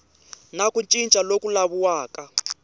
na ku cinca loku laviwaka